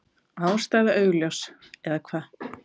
Ástæða augljós. eða hvað?